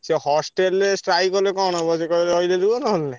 ସିଏ hostel ରେ strike କଲେ କଣ ହବ ସିଏ କହିବେ ରହିଲେ ରୁହ ନହେଲେ ନାଇଁ।